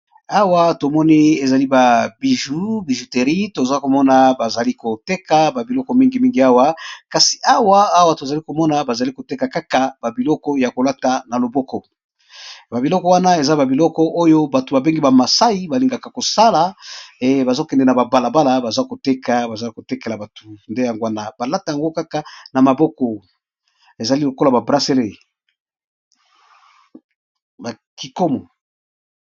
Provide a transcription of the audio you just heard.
Awa tomoni ezali ba biju na bijuterie, tozali komona bazali koteka babiloko mingi mingi awa tozomona bazali koteka kaka ba biloko ya kolata na loboko na biloko wana eza babiloko oyo bato bazokende na babalabala baza koteka bazali kotekela bato nde yango wana balata yango kaka na maboko ezali lokola babraseli.